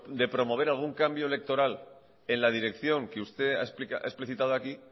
de promover algún cambio electoral en la dirección que usted ha explicitado aquí